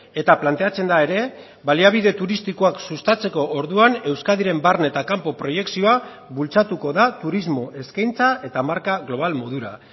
eta planteatzen da ere baliabide turistikoak sustatzeko orduan euskadiren barne eta kanpo proiekzioa bultzatuko da turismo eskaintza eta marka global modura